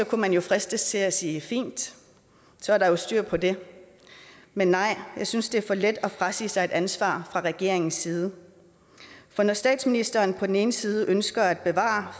kunne fristes til at sige at fint så er der jo styr på det men nej jeg synes det er for let at frasige sig et ansvar fra regeringens side når statsministeren på den ene side ønsker at bevare